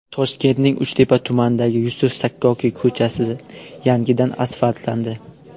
Toshkentning Uchtepa tumanidagi Yusuf Sakkokiy ko‘chasi yangidan asfaltlandi.